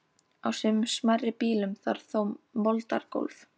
Á sumum smærri býlum var þó moldargólf.